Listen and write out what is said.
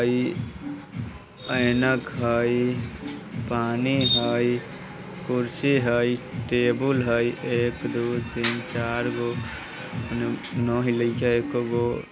अई ऐनक हई पानी हई कुर्सी हई टेबुल हई एक दो तीन चारगो ओने न हिलइ छइ एकोगो--